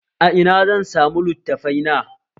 A ina zan samu littafai na?